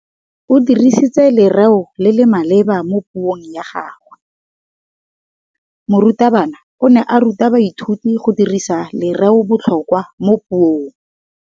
O dirisitse lerêo le le maleba mo puông ya gagwe. Morutabana o ne a ruta baithuti go dirisa lêrêôbotlhôkwa mo puong.